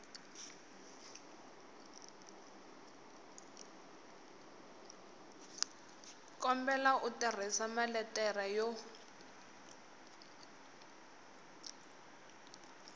kombela u tirhisa maletere yo